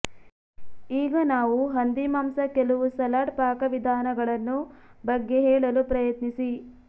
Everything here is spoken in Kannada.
ಈಗ ನಾವು ಹಂದಿಮಾಂಸ ಕೆಲವು ಸಲಾಡ್ ಪಾಕವಿಧಾನಗಳನ್ನು ಬಗ್ಗೆ ಹೇಳಲು ಪ್ರಯತ್ನಿಸಿ